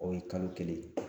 O ye kalo kelen